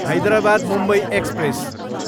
Hyderabad, Mumbai express